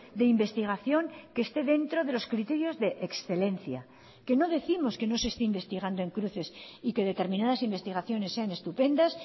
de investigación que esté dentro de los criterios de excelencia que no décimos que no se esté investigando en cruces y que determinadas investigaciones sean estupendas